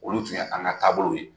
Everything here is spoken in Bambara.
Olu tun ye an ka taabolow ye.